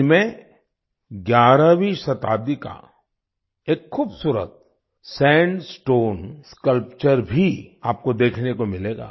इनमें 11वीं शताब्दी का एक खुबसूरत सैंडस्टोन स्कल्पचर स्कल्पचर भी आपको देखने को मिलेगा